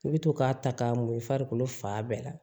I bɛ to k'a ta k'a mori i farikolo fan bɛɛ la